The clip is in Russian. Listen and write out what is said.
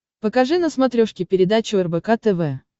покажи на смотрешке передачу рбк тв